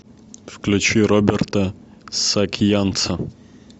включи роберта саакянца